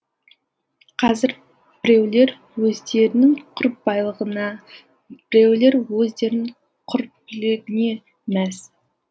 қазір біреулер өздерінің құр байлығына біреулер өздерінің құр билігіне мәз